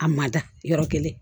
A ma da yɔrɔ kelen